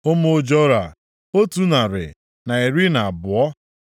Ụmụ Jora, otu narị na iri na abụọ (112).